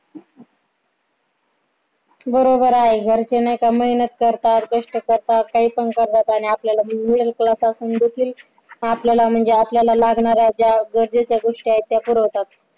बरोबर आहे घरचे नाही का मेहनत करतात कष्ट करतात काही पण करतात आणि आपल्याला middle class असून देखील आपल्याला म्हणजे आपल्याला लागणाऱ्या ज्या गरजेच्या गोष्टी आहे त्या पुरवतात